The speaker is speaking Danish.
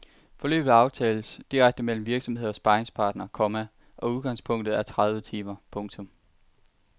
Forløbet aftales direkte mellem virksomhed og sparringspartner, komma og udgangspunktet er tredive timer. punktum